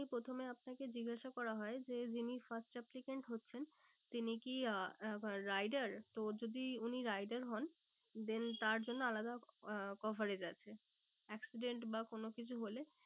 প্রথমে আপনাকে জিজ্ঞাসা করা হয় যে যিনি first applicant হচ্ছেন তিনি কি আহ rider তো যদি উনি rider হন then তার জন্য আলাদা আহ coverage আছে। accident বা কোনো কিছু হলে